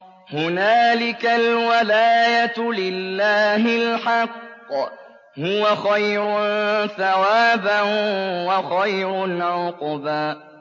هُنَالِكَ الْوَلَايَةُ لِلَّهِ الْحَقِّ ۚ هُوَ خَيْرٌ ثَوَابًا وَخَيْرٌ عُقْبًا